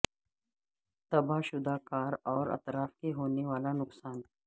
تباہ شدہ کار اور اطراف میں ہونے والا نقصان